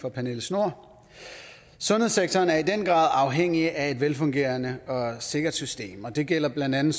for pernille schnoor sundhedssektoren er i den grad afhængig af et velfungerende og sikkert system og det gælder blandt andet